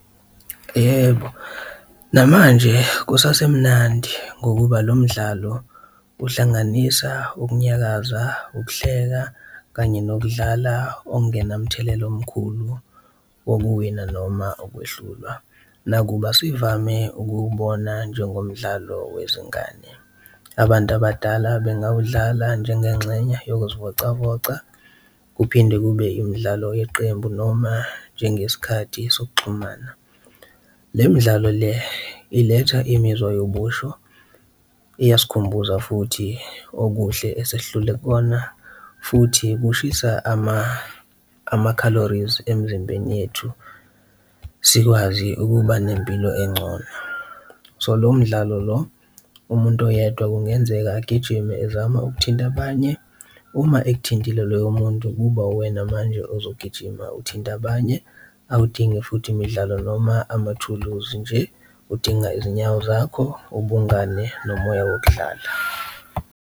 Yebo, namanje kusasemnandi ngokuba lo mdlalo uhlanganisa ukunyakaza, ukuhleka kanye nokudlala okungenamthelela omkhulu wokuwina noma ukwehlulwa nakuba sivame ukuwubona njengomdlalo wezingane, abantu abadala bengawudlala njengenxenye yokuzivocavoca, kuphinde kube imidlalo yeqembu noma njengesikhathi sokuxhumana. Le midlalo le iletha imizwa yobusho, iyasikhumbuza futhi okuhle esesidlule kukona futhi kushisa ama-calories emzimbeni yethu, sikwazi ukuba nempilo encono. So, lowo mdlalo lo umuntu oyedwa kungenzeka agijime ezama ukuthinta abanye, uma ekuthintile loyo muntu kuba uwena manje ozogijima uthinta abanye, awudingi futhi imidlalo noma amathuluzi nje udinga izinyawo zakho, ubungane nomoya wokudlala.